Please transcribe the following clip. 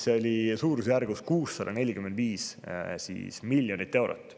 See oli suurusjärgus 645 miljonit eurot.